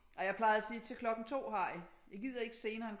Ej jeg plejede at sige til klokken 2 har I jeg gider ikke senere